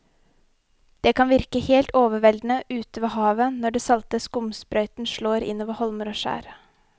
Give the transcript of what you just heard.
Det kan virke helt overveldende ute ved havet når den salte skumsprøyten slår innover holmer og skjær.